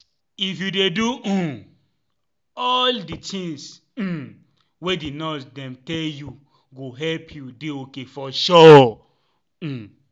if you dey do um all di tins um wey di nurses dem tell you go help u dey ok for sure um